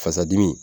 Fasa dimi